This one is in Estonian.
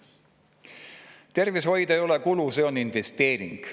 Tervishoid ei ole kulu, see on investeering.